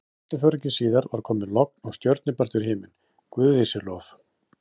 Stundarfjórðungi síðar var komið logn og stjörnubjartur himinn, guði sé lof.